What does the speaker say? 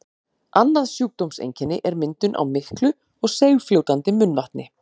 annað sjúkdómseinkenni er myndun á miklu og seigfljótandi munnvatni